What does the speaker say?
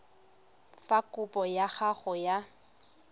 fa kopo ya gago ya